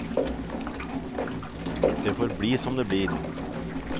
Det får bli som det blir.